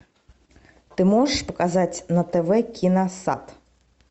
ты можешь показать на тв киносат